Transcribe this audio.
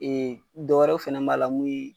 dɔ wɛrɛw fana b'a la mun ye